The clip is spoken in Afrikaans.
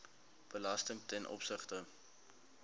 belasting ten opsigte